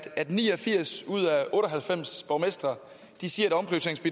ni og firs ud af otte og halvfems borgmestre siger